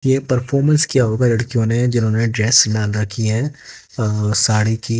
ये परफोमस किया होगा लड़कियों ने जिन्होंने ड्रेस राधा की है अं साड़ी थी--